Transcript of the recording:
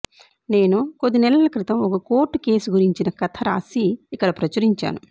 నేను కొద్ది నెలల క్రితం ఒక కోర్టు కేసు గురించిన కథ రాసి ఇక్కడ ప్రచురించాను